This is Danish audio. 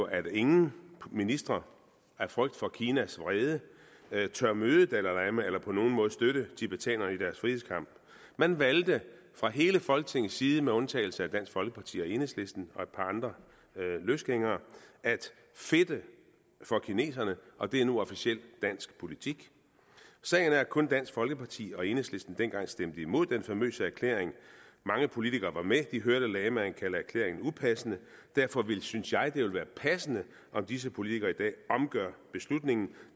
at ingen ministre af frygt for kinas vrede tør møde dalai lama eller på nogen måde støtte tibetanerne i deres frihedskamp man valgte fra hele folketingets side med undtagelse af dansk folkeparti og enhedslisten og et par løsgængere at fedte for kineserne og det er nu officiel dansk politik sagen er at kun dansk folkeparti og enhedslisten dengang stemte imod den famøse erklæring mange politikere var med de hørte lamaen kalde erklæringen upassende derfor synes jeg det vil være passende om disse politikere i dag omgør beslutningen